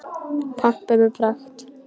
Pompuð með pragt.